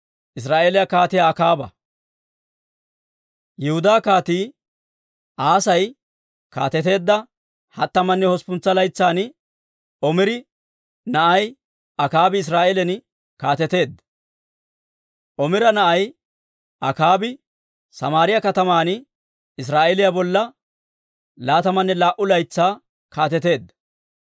Yihudaa Kaatii Asay kaateteedda hattamanne hosppuntsa laytsan Omira na'ay Akaabi Israa'eelan kaateteedda; Omira na'ay Akaabi Samaariyaa kataman Israa'eeliyaa bolla laatamanne laa"u laytsaa kaateteedda.